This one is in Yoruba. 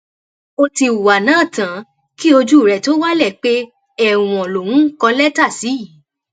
ó ti hùwà náà tán kí ojú rẹ tóó wálé pé ẹwọn lòun ń kọ lẹtà sí yìí